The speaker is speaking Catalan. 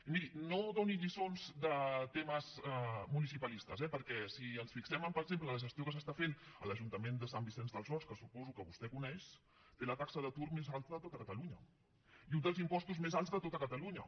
i miri no doni lliçons de temes municipalistes eh perquè si ens fixem per exemple en la gestió que s’està fent a l’ajuntament de sant vicenç dels horts que suposo que vostè coneix té la taxa d’atur més alta de tot catalunya i un dels impostos més alts de tot catalunya